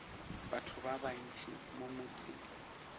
batho ba bantši mo motseng